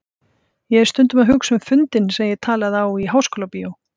Ég er stundum að hugsa um fundinn sem ég talaði á í Háskólabíói.